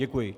Děkuji.